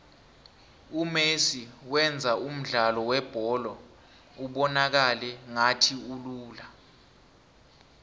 umesi wenza umdlalo webholo ubonakale ngathi ulula